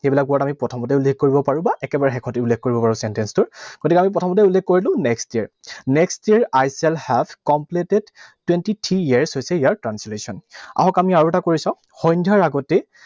সেইবিলাক word আমি প্ৰথমতেই উল্লেখ কৰিব পাৰো বা একেবাৰে শেষতো উল্লেখ কৰিব পাৰো sentence টোৰ। গতিকে আমি প্ৰথমতেই উল্লেখ কৰিলো next year. Next year I shall have completed twenty-three years হৈছে ইয়াৰ translation । আহক আমি আৰু এটা কৰি চাওঁ। সন্ধ্যাৰ আগতেই